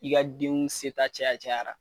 I ka denw seta caya cayara.